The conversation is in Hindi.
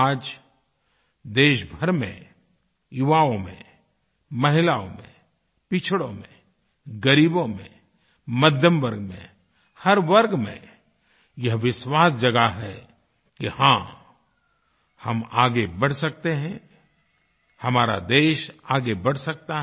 आज देश भर में युवाओं में महिलाओं में पिछड़ों में ग़रीबो में मध्यमवर्ग में हर वर्ग में यह विश्वास जगा है कि हाँ हम आगे बढ़ सकते हैं हमारा देश आगे बढ़ सकता है